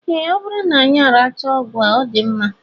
Ee, ọ bụrụ na anyị arachaa ọgwụ a, ọ dị mma